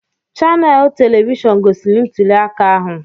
Chaneels Tiivii gosiri ntuli aka ahụ.